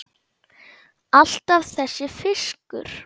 Alltaf þessi fiskur.